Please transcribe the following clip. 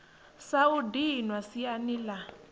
sa u dinwa siani la